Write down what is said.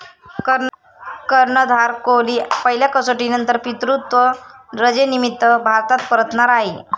कर्णधार कोहली पहिल्या कसोटीनंतर पितृत्व रजेनिमित्त भारतात परतणार आहे.